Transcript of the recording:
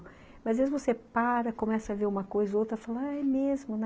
Mas, às vezes, você para, começa a ver uma coisa ou outra e fala, é mesmo, né?